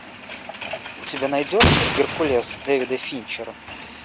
у тебя найдется геркулес дэвида финчера